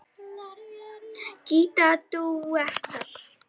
Gítar dúettar